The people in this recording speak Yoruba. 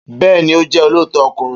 Beeni, o je olooto okunrin